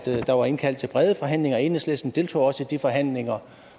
der var indkaldt til brede forhandlinger enhedslisten deltog også i de forhandlinger